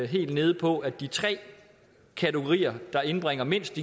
helt nede på at de tre kategorier der indbringer mindst